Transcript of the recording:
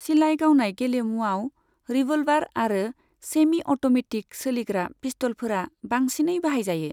सिलाइ गावनाय गेलेमुआव, रिभ'ल्भार आरो सेमि अट'मेटिक सोलिग्रा पिस्त'लफोरा बांसिनै बाहायजायो।